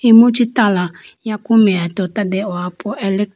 imu chee tala yaku meya tota dehopo elect .